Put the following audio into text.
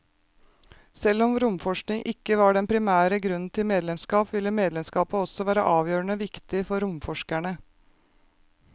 Selv om romforskning ikke var den primære grunnen til medlemskap, ville medlemskapet også være avgjørende viktig for romforskerne.